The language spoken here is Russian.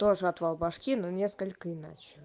тоже отвал башки но несколько иначе